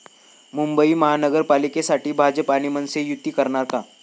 मुंबई महानगरपालिकेसाठी भाजप आणि मनसे युती करणार का?